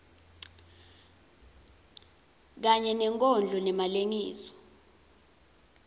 kanye nenkondlo ngemalengiso